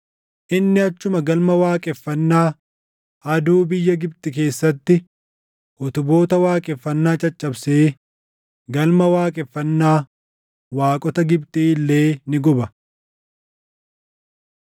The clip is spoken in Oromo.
Inni achuma galma waaqeffannaa aduu biyya Gibxi keessatti utuboota waaqeffannaa caccabsee galma waaqeffannaa waaqota Gibxii illee ni guba.’ ”